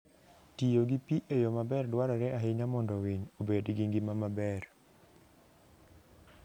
Tiyo gi pi e yo maber dwarore ahinya mondo winy obed gi ngima maber.